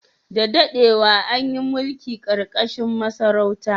Da dadewa, an yi mulki ƙarƙashin masarauta.